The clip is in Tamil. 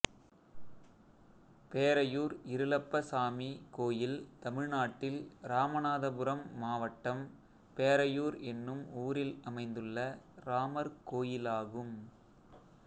பேரையூர் இருளப்பசாமி கோயில் தமிழ்நாட்டில் இராமநாதபுரம் மாவட்டம் பேரையூர் என்னும் ஊரில் அமைந்துள்ள ராமர் கோயிலாகும்